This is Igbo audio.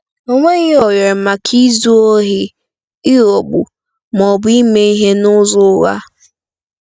E nweghị ohere maka izu ohi, ịghọgbu, ma ọ bụ ime ihe n'ụzọ ụgha.